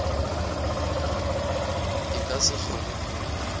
e ka se kgone go